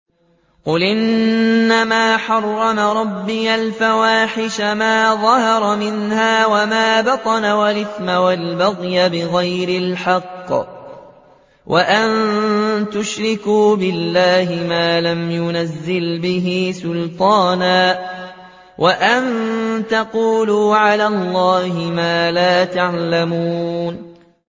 قُلْ إِنَّمَا حَرَّمَ رَبِّيَ الْفَوَاحِشَ مَا ظَهَرَ مِنْهَا وَمَا بَطَنَ وَالْإِثْمَ وَالْبَغْيَ بِغَيْرِ الْحَقِّ وَأَن تُشْرِكُوا بِاللَّهِ مَا لَمْ يُنَزِّلْ بِهِ سُلْطَانًا وَأَن تَقُولُوا عَلَى اللَّهِ مَا لَا تَعْلَمُونَ